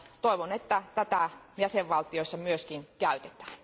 Toivon, että tätä jäsenvaltioissa myös käytetään.